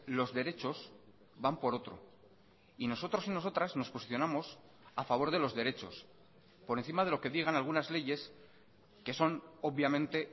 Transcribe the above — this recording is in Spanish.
los derechos van por otro y nosotros y nosotras nos posicionamos a favor de los derechos por encima de lo que digan algunas leyes que son obviamente